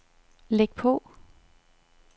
læg på